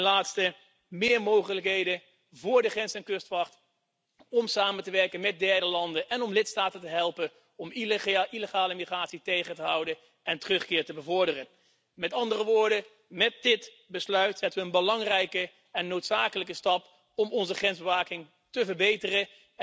En ten slotte meer mogelijkheden voor de grens en kustwacht om samen te werken met derde landen en om lidstaten te helpen om illegale migratie tegen te houden en terugkeer te bevorderen. Met andere woorden, met dit besluit zetten we een belangrijke en noodzakelijke stap om onze grensbewaking te verbeteren.